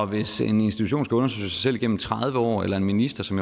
hvis en institution skal undersøge sig selv igennem tredive år eller en minister som